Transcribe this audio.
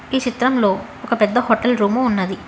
ఈ చిత్రంలో ఒక పెద్ద హోటల్ రూమ్ ఉన్నది.